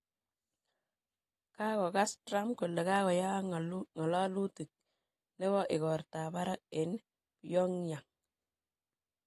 Kokakoyas Trump kole koyaak ng'alalutik nebo igortab barak eng Pyong'yang